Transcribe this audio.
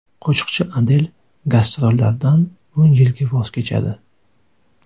Qo‘shiqchi Adel gastrollardan o‘n yilga voz kechadi.